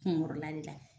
Kunkɔrɔla de la